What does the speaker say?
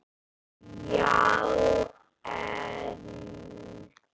Já en.?